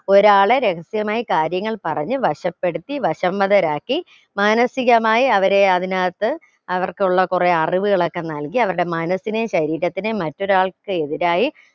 ഒരാളെ രഹസ്യമായി കാര്യങ്ങൾ പറഞ്ഞ് വശപ്പെടുത്തി വശംവദരാക്കി മാനസികമായി അവരെ അതിനകത്ത് അവർക്കുള്ള കുറെ അറിവുകളൊക്കെ നൽകി അവരുടെ മനസിനേം ശരീരത്തിനേം മറ്റൊരാൾക്ക് എതിരായി